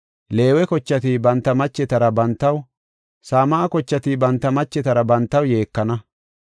Leewe kochati banta machetara bantaw, Same7a kochati banta machetara bantaw, yeekana.